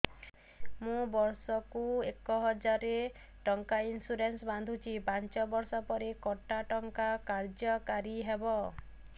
ମୁ ବର୍ଷ କୁ ଏକ ହଜାରେ ଟଙ୍କା ଇନ୍ସୁରେନ୍ସ ବାନ୍ଧୁଛି ପାଞ୍ଚ ବର୍ଷ ପରେ କଟା ଟଙ୍କା କାର୍ଯ୍ୟ କାରି ହେବ